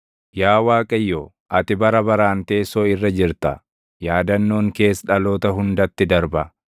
Yaa Waaqayyo, ati bara baraan teessoo irra jirta; yaadannoon kees dhaloota hundatti darba.